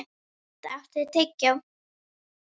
Baddi, áttu tyggjó?